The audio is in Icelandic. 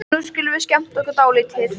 Nú skulum við skemmta okkur dálítið.